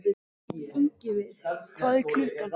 Ingiveig, hvað er klukkan?